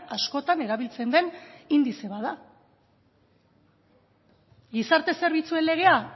askotan erabiltzen den indize bat da gizarte zerbitzuen legea